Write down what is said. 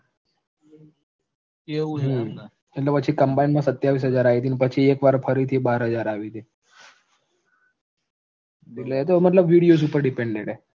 એટલે પછી combined માં સત્તાવીસ હજાર આયી તી પછી એકવાર ફરીથી બાર હજાર આવી તી એ તો મતલબ videos ઉપર depended છે